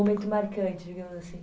Um momento marcante, digamos assim.